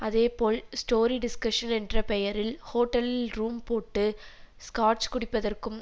அதேபோல் story discussion என்ற பெயரில் ஹோட்டலில் ரூம் போட்டு ஸ்காட்ச் குடிப்பதற்கும்